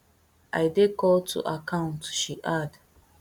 i dey called to account she add